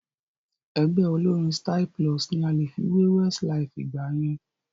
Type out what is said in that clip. Ẹgbẹ́ olórín Styl-Plus ni a lè fi wé Westlife ìgbà yẹn